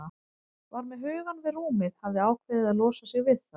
Var með hugann við rúmið, hafði ákveðið að losa sig við það.